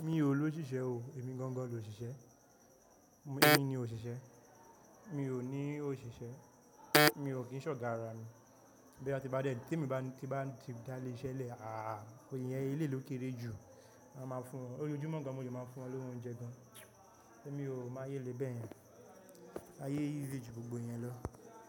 Mi ò ló ṣìṣẹ́ o, èmi gangan lo ṣìṣẹ́. Èmi ni òṣìṣẹ́. Mi ò ní òṣìṣẹ́. Mi ò kí n ṣe ogà àrà mi. Boya ti bá ti bá dẹ tí èmi bá ti bá ti dá ilé iṣẹ́ lẹ̀, àhà, oyè yẹn eléyi lò kéré jù. A máa fún wọn lójojumọ́ gàn mo le máa ń fún wọn ni owo óúnjẹ gan. Ẹ̀mí ò máa yé lè bẹ́ẹ̀ yẹn. A yé easy jú gbogbo yẹn lọ.